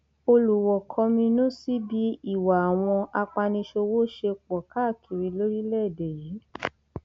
olùwọọ kọminú sí bí ìwà àwọn apaniṣòwò ṣe pọ káàkiri lórílẹèdè yìí